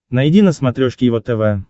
найди на смотрешке его тв